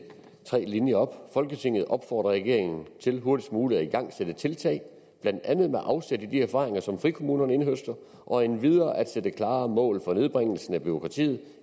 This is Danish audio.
tre linjer op folketinget opfordrer regeringen til hurtigst muligt at igangsætte tiltag blandt andet med afsæt i de erfaringer som frikommunerne indhøster og endvidere at sætte klare mål for nedbringelsen af bureaukratiet